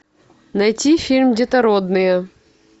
найти фильм детородные